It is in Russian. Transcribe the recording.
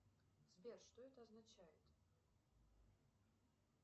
сбер что это означает